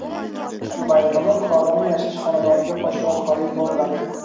Ushbu bayonnoma fuqaroning yashash xonadoniga pochta orqali yuboriladi.